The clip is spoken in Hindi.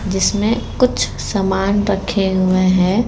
जिसमें कुछ सामान रखे हुए हैं।